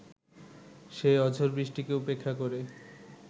সেই অঝোর বৃষ্টিকে উপেক্ষা করে